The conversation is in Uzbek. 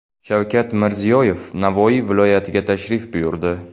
Shavkat Mirziyoyev Navoiy viloyatiga tashrif buyurdi.